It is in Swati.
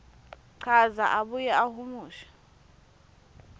chaza abuye ahumushe